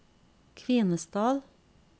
Kvinesdal